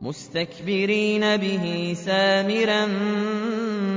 مُسْتَكْبِرِينَ بِهِ سَامِرًا